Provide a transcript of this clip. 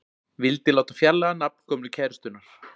Vildi láta fjarlægja nafn gömlu kærustunnar